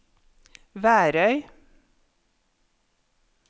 Værøy